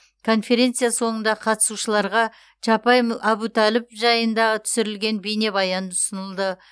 конференция соңында қатысушыларға чапай әбутәліпов жайындағы түсірілген бейнебаян ұсынылды